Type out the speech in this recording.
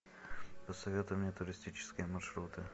посоветуй мне туристические маршруты